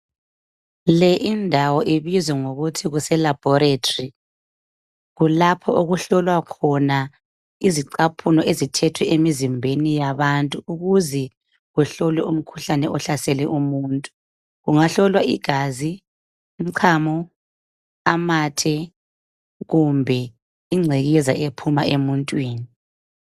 Le indawo ibizwa ngokuthi kuseLaboratory. Kulapha okuhlolwa khona izicaphuno, ezithethwe emizimbeni yomuntu. Ukuze kuhlolwe umkhuhlane ohlasele umuntu. Kungahlolwa igazi, umchamo, amathe kumbe ingcekeza ephuma emuntwini.